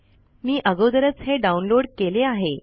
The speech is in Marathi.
मी अगोदेरच हे डाउनलोड केले आहे